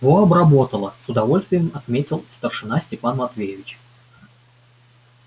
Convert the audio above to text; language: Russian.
во обработала с удовольствием отметил старшина степан матвеевич